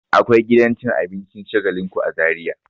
Akwai gidan cin abincin Shagalinku a Zariya.